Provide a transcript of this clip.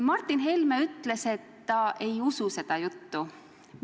Martin Helme ütles, et ta ei usu seda juttu.